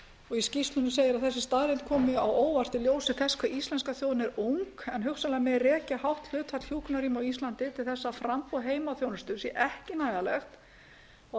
í skýrslunni segir að þessi staðreynd komi á óvart í ljósi þess hve íslenska þjóðin er ung en að hugsanlega megi rekja hátt hlutfall hjúkrunarrýma á íslandi til þess að framboð heimaþjónustu sé ekki nægilegt og að